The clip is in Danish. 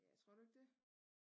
Ja tror du ikke det?